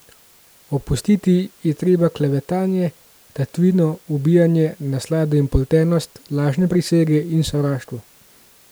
Opustiti je treba klevetanje, tatvino, ubijanje, naslado in poltenost, lažne prisege in sovraštvo.